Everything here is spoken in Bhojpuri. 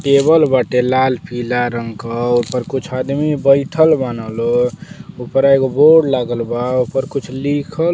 केबल बाटे लाल पीला रंग क। ओपर कुछ आदमी बइठल बान लो। ऊपरा एगो बोर्ड लागल बा। ओपर कुछ लिखल --